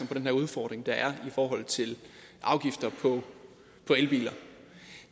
på den udfordring der er i forhold til afgifter på elbiler